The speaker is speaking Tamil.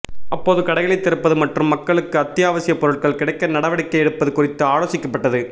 அப்போது கடைகளை திறப்பது மற்றும் மக்களுக்கு அத்தியாவசிய பொருட்கள் கிடைக்க நடவடிக்கை எடுப்பது குறித்து ஆலோசிக்கப்பட்டது